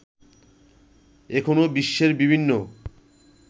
এখনো বিশ্বের বিভিন্ন